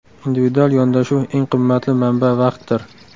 Individual yondashuv Eng qimmatli manba vaqtdir.